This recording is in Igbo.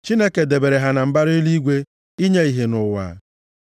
Chineke debere ha na mbara eluigwe inye ìhè nʼụwa,